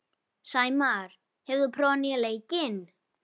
Sæmar, hefur þú prófað nýja leikinn?